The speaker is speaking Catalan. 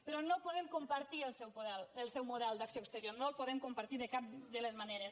però no podem compartir el seu model d’acció exterior no el podem compartir de cap de les maneres